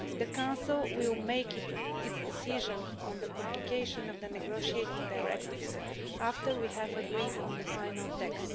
The Council will make its decision on publication of the negotiating directives after we have agreed on the final text.